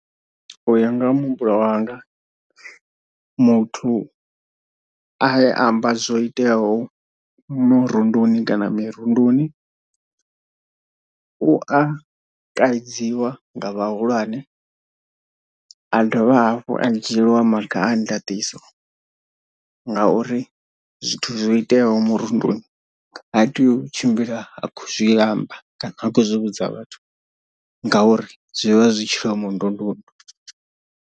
Uya nga ha muhumbulo wanga muthu a ye amba zwo iteaho murunduni kana mirunduni u a kaidziwa nga vhahulwane a dovha hafhu a dzhieliwa maga a ndaṱiso ngauri zwithu zwo iteaho murunduni ha tei u tshimbila a khou zwi amba kana a khou zwi vhudza vhathu ngauri zwi vha zwi tshilomondundundu.